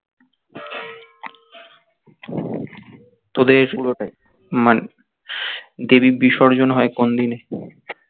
তোদের মানে দেবীর বিসর্জন হয় কোনদিন?